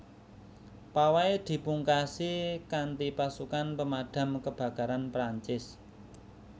Pawai dipungkasi kanthipasukan Pemadam Kebakaran Perancis